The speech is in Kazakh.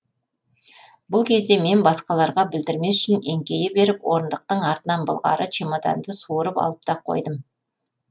бұл кезде мен басқаларға білдірмес үшін еңкейе беріп орындықтың артынан былғары чемоданды суырып алып та қойдым